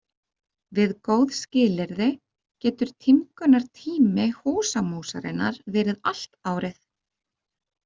Við góð skilyrði getur tímgunartími húsamúsarinnar verið allt árið.